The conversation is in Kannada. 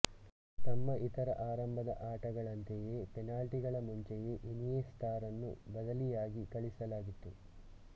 ತಮ್ಮ ಇತರ ಆರಂಭದ ಆಟಗಳಂತೆಯೇ ಪೆನಾಲ್ಟಿಗಳ ಮುಂಚೆಯೇ ಇನಿಯೆಸ್ಟಾರನ್ನು ಬದಲಿಯಾಗಿ ಕಳಿಸಲಾಗಿತ್ತು